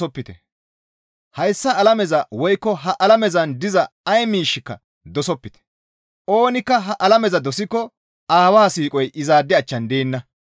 Hayssa alameza woykko ha alamezan diza ay miishsheka dosopite; oonikka ha alameza dosikko Aawaa siiqoy izaade achchan deenna.